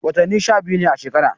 Wattani sha biyu ne a shekara.